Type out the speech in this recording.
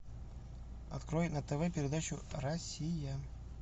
открой на тв передачу россия